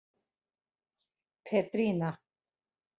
Petrína